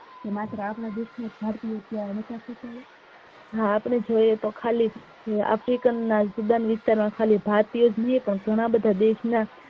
હા આપડે જોયે તો ખાલી african ના જુદા વિસ્તાર ના ખાલી ભારતીય જ નહિ પણ ઘણા બધા દેશ ના